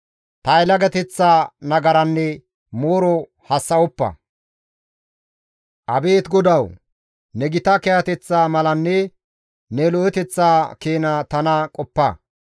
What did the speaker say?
Ta yelagateththa nagaranne mooro hassa7oppa; Abeet GODAWU! Ne gita kiyateththa malanne ne lo7eteththa keena tana qoppa;